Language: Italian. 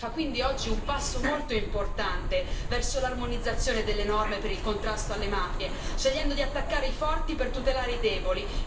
L'Unione fa quindi oggi un passo molto importante verso l'armonizzazione delle norme per il contrasto alle mafie, scegliendo di attaccare i forti per tutelare i deboli.